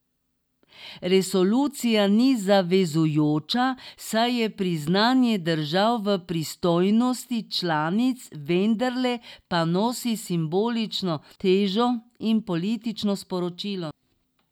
Resolucija ni zavezujoča, saj je priznanje držav v pristojnosti članic, vendarle pa nosi simbolično težo in politično sporočilo.